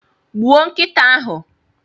Gbuo nkịta ahu!